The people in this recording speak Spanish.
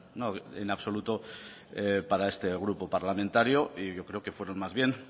no en absoluto para este grupo parlamentario y yo creo que fueron más bien